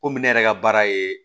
Komi ne yɛrɛ ka baara ye